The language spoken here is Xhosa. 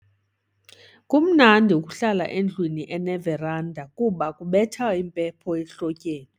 Kumnandi ukuhlala endlwini eneveranda kuba kubetha impepho ehlotyeni.